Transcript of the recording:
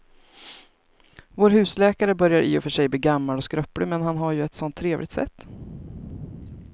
Vår husläkare börjar i och för sig bli gammal och skröplig, men han har ju ett sådant trevligt sätt!